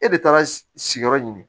E de taara sigiyɔrɔ ɲini